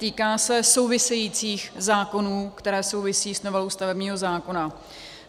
Týká se souvisejících zákonů, které souvisí s novelou stavebního zákona.